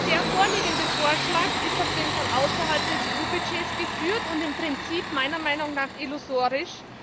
Der vorliegende Vorschlag ist auf jeden Fall außerhalb des EU Budgets geführt und im Prinzip meiner Meinung nach illusorisch.